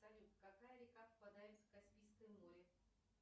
салют какая река впадает в каспийское море